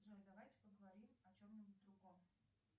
джой давайте поговорим о чем нибудь другом